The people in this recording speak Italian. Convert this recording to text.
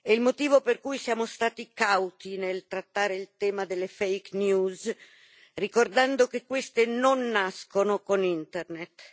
È il motivo per cui siamo stati cauti nel trattare il tema delle ricordando che queste non nascono con Internet